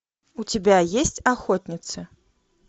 у тебя есть охотницы